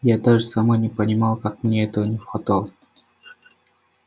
я даже сама не понимала как мне этого не хватало